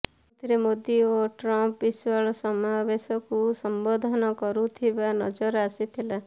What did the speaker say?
ଯେଉଁଥିରେ ମୋଦି ଓ ଟ୍ରମ୍ପ ବିଶାଳ ସମାବେଶକୁ ସମ୍ବୋଧନ କରୁଥିବା ନଜର ଆସିଥିଲା